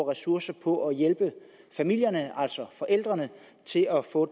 ressourcer på at hjælpe familierne altså forældrene til at få